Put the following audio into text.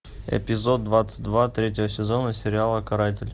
эпизод двадцать два третьего сезона сериала каратель